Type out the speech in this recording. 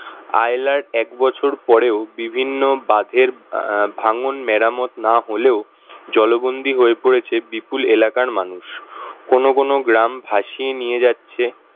আইলার এক বছর পরেও বিভিন্ন বাঁধের ভাঙ্গন মেরামত না হলেও জলবন্দী হয়ে পড়েছে বিপুল এলাকার মানুষ কোন কোন গ্রাম ভাসিয়ে নিয়ে যাচ্ছে